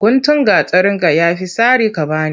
Guntun gatarinka ya fi sari ka ba ni.